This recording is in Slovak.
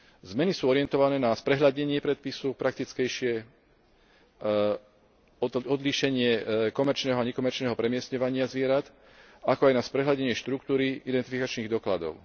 Zmeny sú orientované na sprehľadnenie predpisu, praktickejšie o to odlíšenie komerčného a nekomerčného premiestňovania zvierat, ako aj na sprehľadnenie štruktúry identifikačných dokladov.